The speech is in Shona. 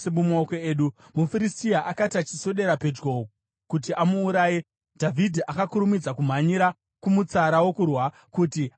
MuFiristia akati achiswedera pedyo kuti amuuraye, Dhavhidhi akakurumidza kumhanyira kumutsara wokurwa kuti andosangana naye.